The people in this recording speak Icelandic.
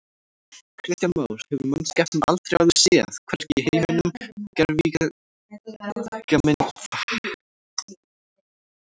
Kristján Már: Hefur mannskepnan aldrei áður séð, hvergi í heiminum, gervigíga myndast?